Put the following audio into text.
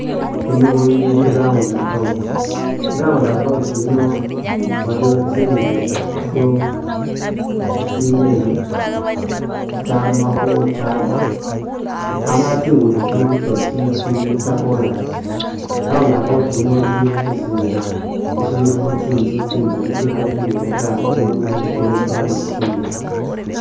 Yiino ili i'round about, i'round about yiino waliyo tsiguddo tsine tsitsamakho tsatsa amala tsiguddo tsino tsosi tsili tsa'chorus i'round about yiino ili musisintsa shilimo tsinzu tsingali tsikhali indwela taa nga muno mulimo tsi'goorofa ni'tsitsindi